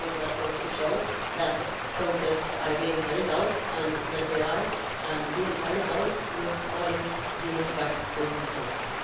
I think that goes to show that protests are being carried out and that they are being carried out with all due respect to the process.